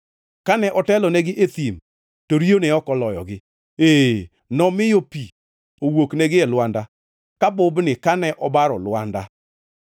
Kane otelonegi e thim, to riyo ne ok oloyogi; ee, nomiyo pi owuoknegi e lwanda ka bubni kane obaro lwanda.